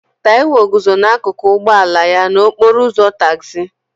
Taiwo guzo n'akụkụ ụgbọ ala ya n'okporo ụzọ tagzi